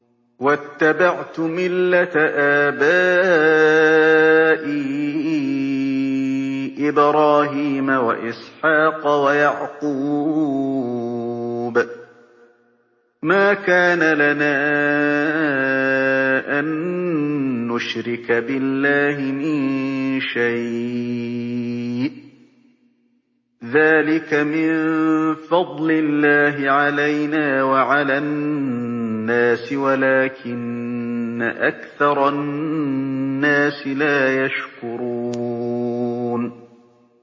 وَاتَّبَعْتُ مِلَّةَ آبَائِي إِبْرَاهِيمَ وَإِسْحَاقَ وَيَعْقُوبَ ۚ مَا كَانَ لَنَا أَن نُّشْرِكَ بِاللَّهِ مِن شَيْءٍ ۚ ذَٰلِكَ مِن فَضْلِ اللَّهِ عَلَيْنَا وَعَلَى النَّاسِ وَلَٰكِنَّ أَكْثَرَ النَّاسِ لَا يَشْكُرُونَ